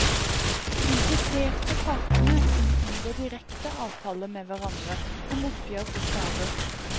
De impliserte partene kunne inngå direkte avtaler med hverandre om oppgjør for skader.